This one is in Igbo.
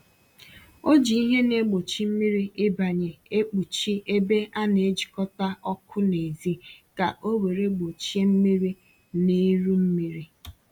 o ji ìhè na egbochi mmiri ibanye ekpuchi ebe a na-ejikọta ọkụ n’èzí ka owere gbochie mmiri na iru mmiri.